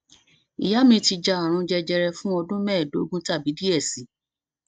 iya mi ti ja arun jejere fun ọdun mẹdogun tabi diẹ sii